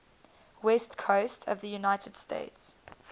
west coast of the united states